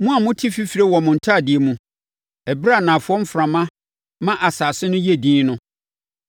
Mo a mote fifire wɔ mo ntadeɛ mu ɛberɛ a anafoɔ mframa ma asase no yɛ dinn no,